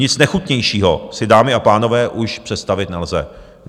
Nic nechutnějšího si, dámy a pánové, už představit nelze.